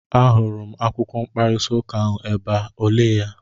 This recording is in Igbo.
M hụrụ akwụkwọ mkparịta ụka ahụ ebe a, o lee ya?